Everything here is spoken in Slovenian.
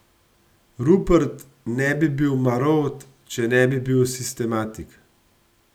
Rupert ne bi bil Marovt, če ne bil bil sistematik.